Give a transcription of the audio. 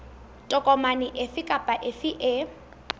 tokomane efe kapa efe e